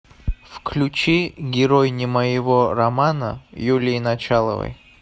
включи герой не моего романа юлии началовой